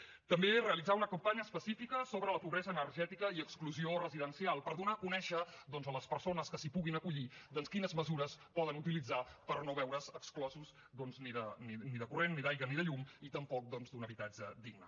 també realitzar una campanya específica sobre la pobresa energètica i exclusió residencial per donar a conèixer doncs a les persones que s’hi puguin acollir quines mesures poden utilitzar per no veure’s exclosos doncs ni de corrent ni d’aigua ni de llum i tampoc d’un habitatge digne